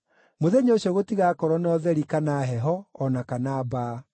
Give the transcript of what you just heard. Mũthenya ũcio gũtigakorwo na ũtheri kana heho o na kana mbaa.